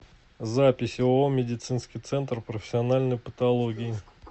запись ооо медицинский центр профессиональной патологии